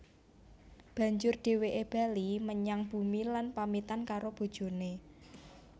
Banjur dhèwèké bali menyang bumi lan pamitan karo bojoné